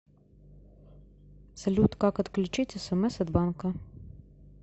салют как отключить смс от банка